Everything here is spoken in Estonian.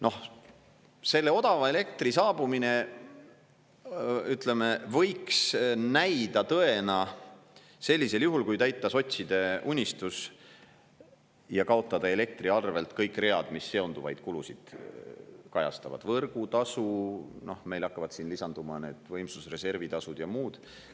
Noh, selle odava elektri saabumine, ütleme, võiks näida tõena sellisel juhul, kui täita sotside unistus ja kaotada elektriarvelt kõik read, mis seonduvaid kulusid kajastavad – võrgutasu, meil hakkavad siin lisanduma need võimsusreservi tasud ja muud.